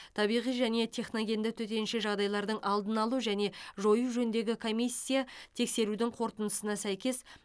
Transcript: табиғи және техногенді төтенше жағдайлардың алдын алу және жою жөніндегі комиссия тексеруінің қорытындысына сәйкес